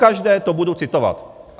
Pokaždé to budu citovat!